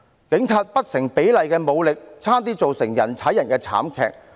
警方不成比例的武力，差點釀成人踩人慘劇。